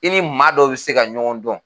I ni maa dɔw bi se ka ɲɔgɔn dɔn